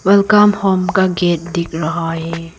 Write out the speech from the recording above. Welcome home का gate दिख रहा है।